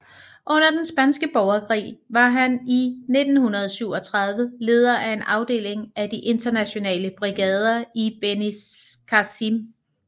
Under den spanske borgerkrig var han i 1937 leder af en afdeling af de Internationale Brigader i Benicàssim